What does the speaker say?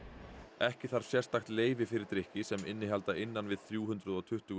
ekki þarf sérstakt leyfi fyrir drykki sem innihalda innan við þrjú hundruð og tuttugu